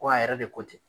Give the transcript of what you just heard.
Ko a yɛrɛ de ko ten